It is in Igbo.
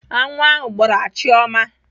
Aṅụ ahụ gbraa Chioma.